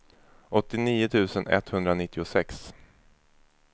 åttionio tusen etthundranittiosex